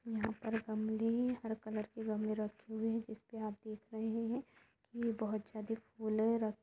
यहाँ पर गमले हर कलर के गमले रखे हुए है जिसपे आप देख रहे है की बहुत ज़्यादा फुले र--